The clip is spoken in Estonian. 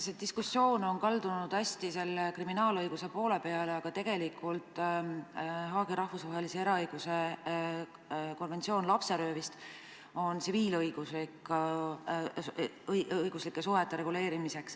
See diskussioon on kaldunud kriminaalõiguse valdkonda, aga tegelikult kuulub Haagis rahvusvahelise eraõiguse konverentsil vastuvõetud konventsiooni kohaselt lapserööv tsiviilõiguslike suhete valdkonda.